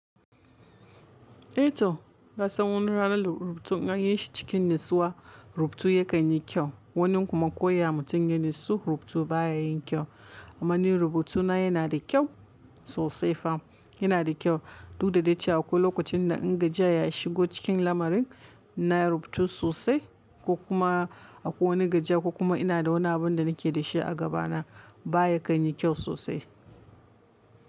Eh to na san wani ranar rubutu in yi shi cikin natsuwa rubutu ya kan yi kyau. Wani kuma ko ya mutu yin natsuwa rubutu baya yin kyau. Amma ni rubutuna yana da kyau sosai fam. Yana da kyau. Duk da dace a ko lokacin da in gajiya ya shigo cikin lamarin na rubutu sosai ko kuma a ko wani gajiya ko kuma ina da wani abin da nake da shi a gaba na baya kan yi kyau sosai.